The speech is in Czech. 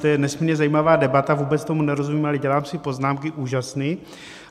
To je nesmírně zajímavá debata, vůbec tomu nerozumím, ale dělám si poznámky úžasný.